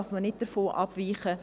Davon darf man nicht abweichen.